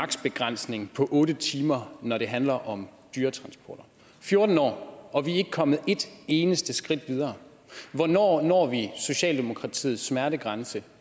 begrænsning på otte timer når det handler om dyretransport fjorten år og vi er ikke kommet et eneste skridt videre hvornår når vi socialdemokratiets smertegrænse